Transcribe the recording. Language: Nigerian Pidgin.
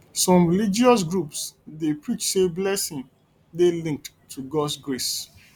some religious groups dey preach sey blessing dey linked to gods grace